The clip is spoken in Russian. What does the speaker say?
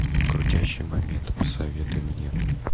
крутящий момент посоветуй мне